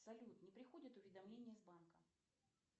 салют не приходят уведомления из банка